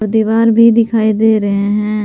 दीवार भी दिखाई दे रहे हैं।